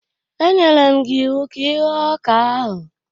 E nyere m gị iwu ka ịghọ ọka ahụ!